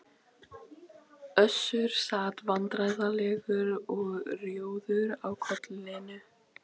Össur sat vandræðalegur og rjóður á kollinum.